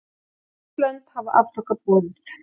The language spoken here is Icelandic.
Sex lönd hafa afþakkað boðið